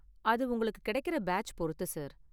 அது உங்களுக்கு கிடைக்குற பேட்ச் பொருத்து சார்.